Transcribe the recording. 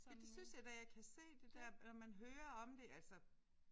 Ja det synes jeg da jeg kan se det der når man hører om det altså